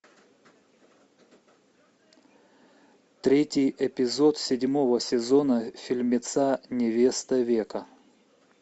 третий эпизод седьмого сезона фильмеца невеста века